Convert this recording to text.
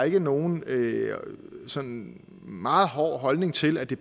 ikke nogen sådan meget hård holdning til at det